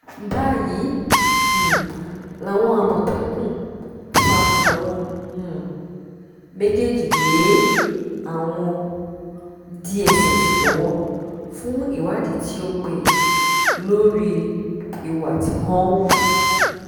báyìí um làwọn àmọ̀tẹ́kùn fa àwọn um méjèèjì lé àwọn dss lọ́wọ́ fún ìwádìí tíó péye lórí ìwà tí wọ́n hù